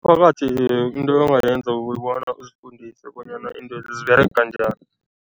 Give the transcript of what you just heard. Umphakathi into abangayenza kukobona uzifundise bonyana intwezi ziberega njani.